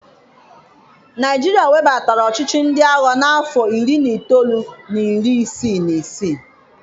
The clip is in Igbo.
Naịjirịa webatara ọchịchị ndị agha n'afọ Iri na itoolu na iri isii na isii.